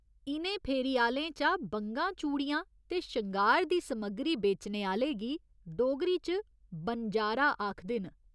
इ'नें फेरी आह्‌लें चा बंगां चूड़ियां ते शंगार दी समग्री बेचने आह्‌ले गी डोगरी च 'बनजारा' आखदे न।